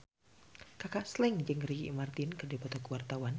Kaka Slank jeung Ricky Martin keur dipoto ku wartawan